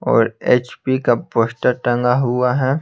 और एच_पी का पोस्टर टंगा हुआ है।